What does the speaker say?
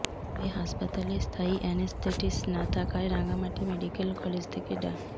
তবে হাসপাতালে স্থায়ী অ্যানেসথেটিস্ট না থাকায় রাঙামাটি মেডিক্যাল কলেজ থেকে ডা